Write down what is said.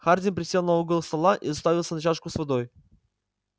хардин присел на угол стола и уставился на чашку с водой